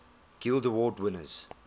guild award winners